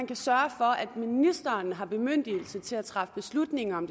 kan sørge for at ministeren har bemyndigelse til at træffe beslutninger om